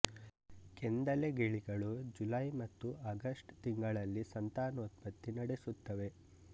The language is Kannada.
ಕೆಂದಲೆ ಗಿಳಿಗಳು ಜುಲೈ ಮತ್ತು ಅಗಸ್ಟ್ ತಿಂಗಳಲ್ಲಿ ಸಂತಾನೋತ್ಪತ್ತಿ ನಡೆಸುತ್ತವೆ